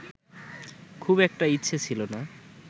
খুব একটা ইচ্ছে ছিল না